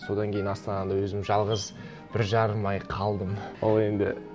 содан кейін астанада өзім жалғыз бір жарым ай қалдым ол енді